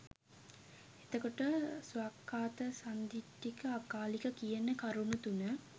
එතකොට ස්වාක්ඛාත සන්දිට්ඨික අකාලික කියන කරුණු තුන